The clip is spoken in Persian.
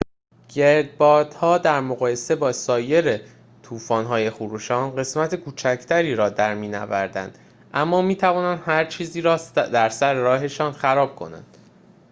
گردبادها در مقایسه با سایر طوفان‌های خروشان قسمت کوچکتری را در می‌نوردند اما می‌توانند هرچیزی را در سر راهشان خراب کنند